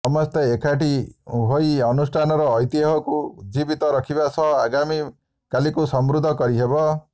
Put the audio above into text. ସମସ୍ତେ ଏକାଠି ହୋଇ ଅନୁଷ୍ଠାନର ଐତିହ୍ୟକୁ ଉଜ୍ଜୀବିତ ରଖିବା ସହ ଆଗାମୀ କାଲିକୁ ସମୃଦ୍ଧ କରିହେବ